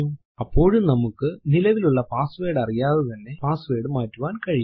അപ്പോഴും നമ്മൾക്ക് നിലവിലുള്ള പാസ്സ്വേർഡ് അറിയാതെ തന്നെ പാസ്സ്വേർഡ് മാറ്റുവാൻ കഴിയും